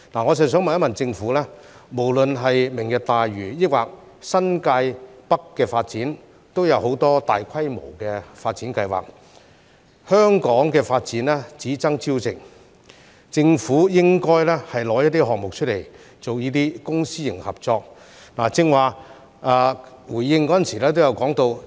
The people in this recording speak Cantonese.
我想問一問政府，無論是"明日大嶼"或新界北的發展，都有很多大規模的發展計劃，香港的發展只爭朝夕，政府應該拿出一些項目，以公私營合作的方式進行。